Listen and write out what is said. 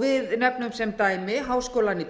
við nefnum sem dæmi háskólann í